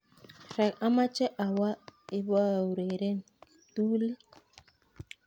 amoche awoo iboureren kiptulit